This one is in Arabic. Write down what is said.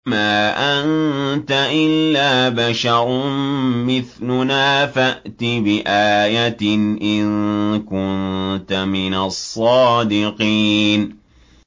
مَا أَنتَ إِلَّا بَشَرٌ مِّثْلُنَا فَأْتِ بِآيَةٍ إِن كُنتَ مِنَ الصَّادِقِينَ